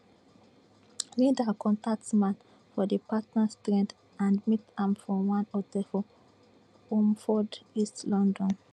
linda contact man for di partners thread and meet am for one hotel for romford east london